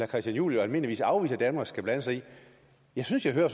christian juhl jo almindeligvis afvise at danmark skal blande sig i jeg synes jeg hører